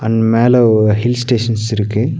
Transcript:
And மேலவ் ஒ hill stations இருக்கு.